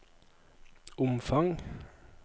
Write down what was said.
omfang